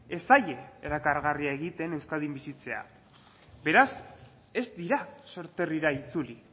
ez zaie erakargarria egiten euskadin bizitzea beraz ez dira sorterrira itzuli